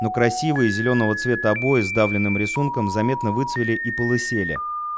но красивые зелёного цвета обои сдавленным рисунком заметно выцвели и полысели